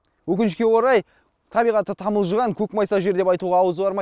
өкінішке орай табиғаты тамылжыған көк майса жер деп айтуға ауыз бармай